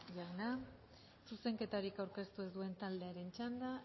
jauna zuzenketarik aurkeztu ez duen taldearen txanda